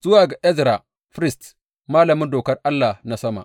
Zuwa ga Ezra firist, malamin Dokar Allah na sama.